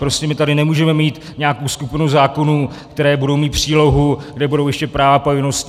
Prostě my tady nemůžeme mít nějakou skupinu zákonů, které budou mít přílohu, kde budou ještě práva a povinnosti.